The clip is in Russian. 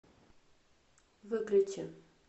выключи